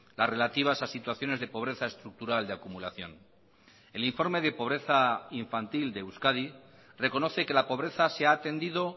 las relativas a situaciones de pobreza estructural de acumulación el informe de pobreza infantil de euskadi reconoce que la pobreza se ha atendido